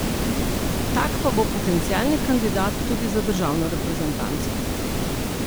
Tak pa bo potencialni kandidat tudi za državno reprezentanco.